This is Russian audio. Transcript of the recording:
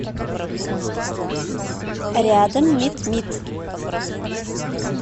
рядом митмит